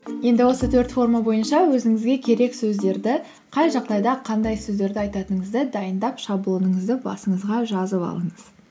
енді осы төрт форма бойынша өзіңізге керек сөздерді қай жағдайда қандай сөздерді айтатыңызды дайындап шаблоныңызды басыңызға жазып алыңыз